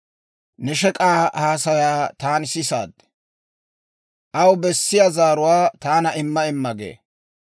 Ne shek'k'aa haasayaa taani sisaad; aw bessiyaa zaaruwaa taana imma imma gee.